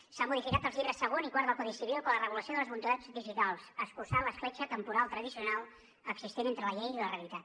s’han modificat els llibres segon i quart del codi civil per a la regulació de les voluntats digitals i s’ha escurçat l’escletxa temporal tradicional existent entre la llei i la realitat